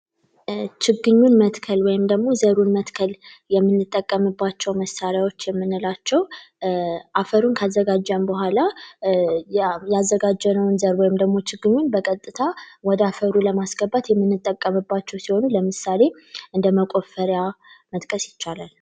ችግኙን መትከል ወይም ደግሞ ዘሩን መትከል የምንጠቀምባቸው መሳሪያዎች የምንላቸው አፈሩን ከዘጋጀን በኋላ ያዘጋጀነውን ዘር ወይም ደግሞ ችግሩን በቀጥታ ወደ አፈሩ ለማስገባት የምንጠቀምባቸው ሲሆኑ ለምሳሌ መቆፈሪያ መጥቀስ ይቻላል